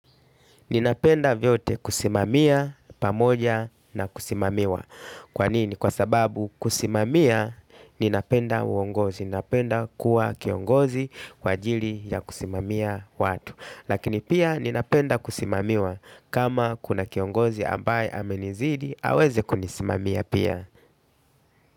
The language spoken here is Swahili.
Ninapenda vyote kusimamia pamoja na kusimamiwa. Kwa nini? Kwa sababu kusimamia ninapenda uongozi. Ninapenda kuwa kiongozi kwa ajili ya kusimamia watu. Lakini pia ninapenda kusimamiwa kama kuna kiongozi ambaye amenizidi aweze kunisimamia pia.